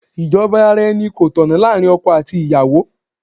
Ìjọba ara-ẹni kò tọ̀nà láàárín ọkọ àti ìyàwó.